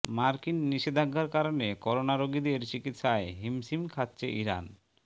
মার্কিন নিষেধাজ্ঞার কারণে করোনা রোগীদের চিকিৎসায় হিমশিম খাচ্ছে ইরান